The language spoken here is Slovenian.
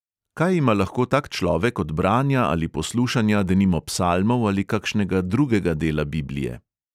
Kaj ima lahko tak človek od branja ali poslušanja denimo psalmov ali kakšnega drugega dela biblije?